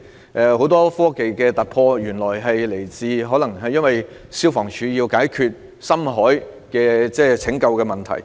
例如，原來很多科技上的突破是源自香港消防處要解決深海拯救的問題。